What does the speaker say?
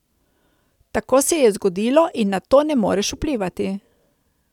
Tako se je zgodilo in na to ne moreš vplivati.